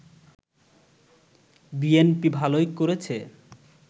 BNP ভালোই করেছে